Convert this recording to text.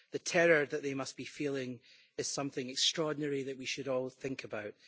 The terror that they must be feeling is something extraordinary that we should all think about.